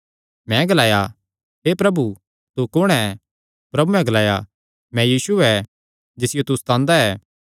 मैं ग्लाया हे प्रभु तू कुण ऐ प्रभुयैं ग्लाया मैं यीशु ऐ जिसियो तू सतांदा ऐ